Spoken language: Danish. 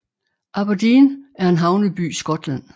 Aberdeen er en havneby i Skotland